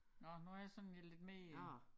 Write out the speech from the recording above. Nåh nu har jeg sådan lige lidt mere